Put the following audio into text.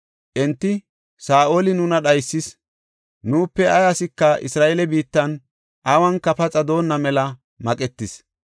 Enti, “Saa7oli nuna dhaysis; nuupe ay asika Isra7eele biittan awunka paxa doonna mela maqetis.